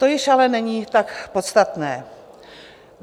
To již ale není tak podstatné.